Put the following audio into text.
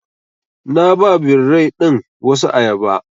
Na ba birrai ɗin wasu ayaba.